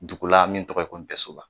Dugu la min tɔgɔ ye ko Npɛsoba